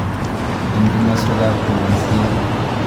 En komoswook ab turisiiet.